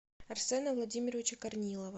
арсена владимировича корнилова